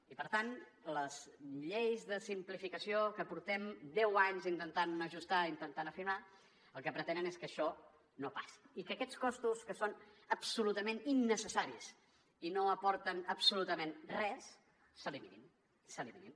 i per tant les lleis de simplificació que portem deu anys intentant ajustar intentant afinar el que pretenen és que això no passi i que aquests costos que són absolutament innecessaris i no aporten absolutament res s’eliminin